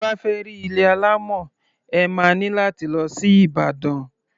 Tẹ bá fẹ́ rí ilé alámọ̀, ẹ má ní láti lọ sí Ìbàdàn.